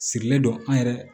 Sirilen don an yɛrɛ